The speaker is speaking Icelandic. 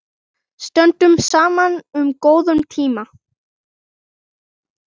Stöndum saman um góða tíma.